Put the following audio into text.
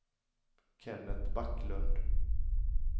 Kenneth Backlund